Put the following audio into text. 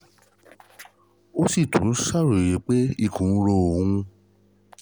Ó sì tún ń ṣàròyé pé ikùn ń ro òun